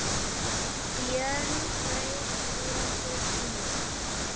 Björn kraup föður sínum.